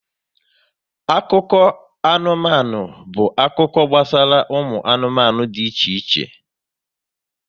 Akụkọ anụmanụ bụ akụkọ gbasara ụmụ anụmanụ dị iche iche